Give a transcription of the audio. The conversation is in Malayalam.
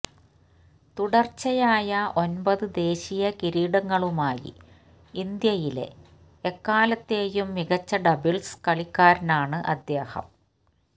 തുടർച്ചയായ ഒമ്പത് ദേശീയ കിരീടങ്ങളുമായി ഇന്ത്യയിലെ എക്കാലത്തെയും മികച്ച ഡബിൾസ് കളിക്കാരനാണ് അദ്ദേഹം